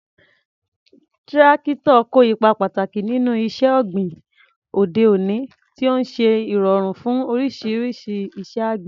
Tírákítọ̀ kó ipa pàtàkì nínú iṣẹ́ ọ̀gbìn òde òní, tí ó ń ṣe ìrọ̀rùn fún oríṣiríṣi iṣẹ́ àgbẹ̀.